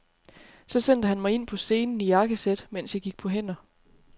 Så sendte han mig ind på scenen i jakkesæt, mens jeg gik på hænder.